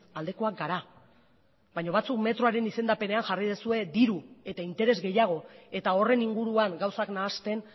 aldekoak gara baina batzuk metroaren izendapenean jarri duzue diru eta interes gehiago eta horren inguruan gauzak nahasten